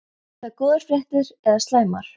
Eru það góðar fréttir eða slæmar?